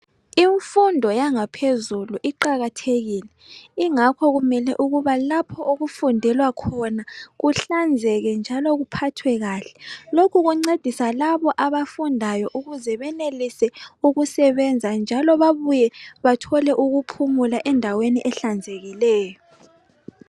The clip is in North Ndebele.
Imfundo yangaphezulu iqakathekile ingakho kumele ukuba lapho okufundelwa khona kuhlanzeke njalo kuphathwe kahle lokhu kuncedisa labo abafundayo ukuze benelise ukusebenza njalo babuye bathole ukuphumula endaweni ehlanzekileyo